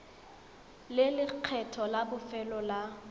le lekgetho la bofelo la